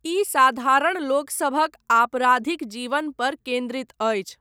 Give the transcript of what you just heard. ई साधारण लोकसभक आपराधिक जीवन पर केन्द्रित अछि।